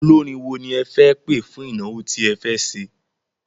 Olórin wo ni ẹ fẹ́ pẹ̀ fún ìnáwó tí ẹ fẹ́ ṣe?